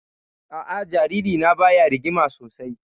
A'a, jaririna baya rigima sosai